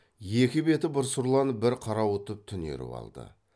екі беті бір сұрланып бір қарауытып түнеріп алды